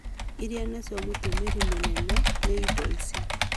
irĩa nicio mũtũmĩri mũnene nĩ indo ici.